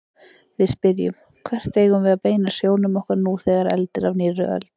Við spyrjum: Hvert eigum við að beina sjónum okkar nú þegar eldir af nýrri öld?